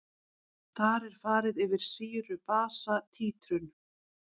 Þar er farið yfir sýru-basa títrun.